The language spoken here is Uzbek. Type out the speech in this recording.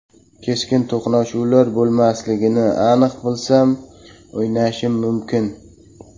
Keskin to‘qnashuvlar bo‘lmasligini aniq bilsam, o‘ynashim mumkin.